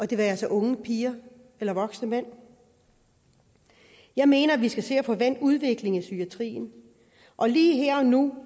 det være sig unge piger eller voksne mænd jeg mener at vi skal se at få vendt udviklingen i psykiatrien og lige her og nu